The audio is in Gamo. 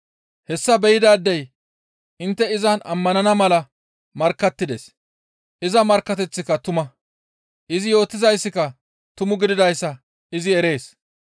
Hessa be7idaadey intte izan ammanana mala markkattides; iza markkateththika tuma. Izi yootizaykka tumu gididayssa izi erees.